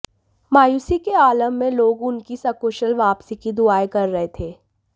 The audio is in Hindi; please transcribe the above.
मायूसी के आलम में लोग उनकी सकुशल वापसी की दुआएं कर रहे थे